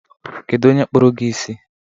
Kedu onye kpụrụ gi isi?